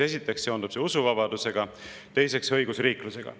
Esiteks seondub see usuvabadusega, teiseks õigusriiklusega.